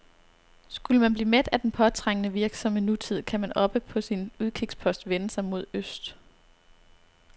Skulle man blive mæt af den påtrængende, virksomme nutid, kan man oppe på sin udkigspost vende sig mod øst.